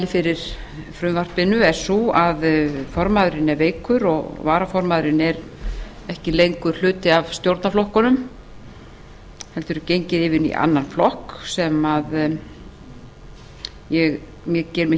fyrir frumvarpinu er sú að formaðurinn er veikur og varaformaðurinn er ekki lengur hluti af stjórnarflokkunum heldur genginn yfir í annan flokk sem ég geri mér ekki grein